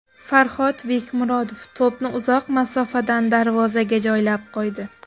Farhod Bekmurodov to‘pni uzoq masofadan darvozaga joylab qo‘ydi.